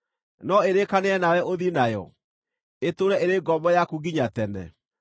No ĩrĩkanĩre nawe ũthiĩ nayo, ĩtũũre ĩrĩ ngombo yaku nginya tene?